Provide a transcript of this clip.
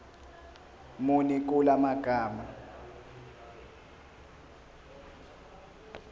muni kula magama